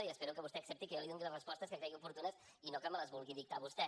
i espero que vostè accepti que jo li doni les respostes que cregui oportunes i no que me les vulgui dictar vostè